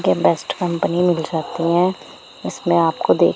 ये best company मिल जाती हैं इसमें आपको दे--